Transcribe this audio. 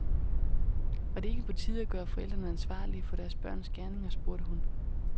Var det ikke på tide at gøre forældrene ansvarlige for deres børns gerninger, spurgte hun.